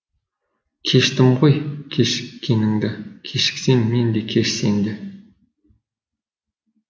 кештім ғой кешіккеніңді кешіксем мен де кеш сен де